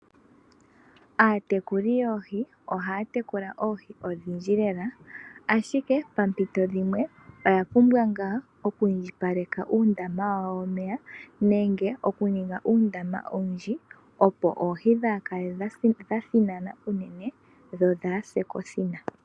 Aatekuli yoohi ohaya tekula oohi odhindji lela ashike paampito dhimwe oya pumbwa nga oku indjipaleka uundama wawo womeya nenge okuninga uundama owundji opo oohi dhikale inadhi thinana unene dho inadhi se kothina.